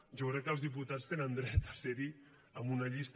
jo crec que els diputats tenen dret a ser hi en una llista